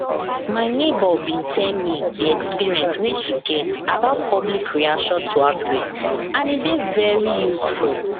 my neighbor bin tell me the experience wey she get about public reaction to outbreak and e dey very useful